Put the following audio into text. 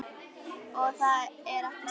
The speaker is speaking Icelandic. Og það er ekki slæmt.